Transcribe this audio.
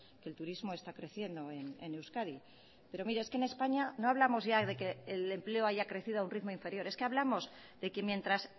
que el turismo está creciendo en euskadi pero mire es que en españa no hablamos ya de que el empleo haya crecido a un ritmo inferior es que hablamos de que mientras